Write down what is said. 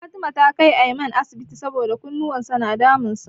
Fatima ta kai Aiman asibiti saboda kunnuwan sa na damun sa.